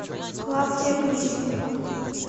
клавдия грищенко